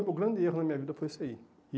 o grande erro na minha vida foi isso aí. E